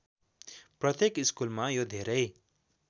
प्रत्येक स्कुलमा यो धेरै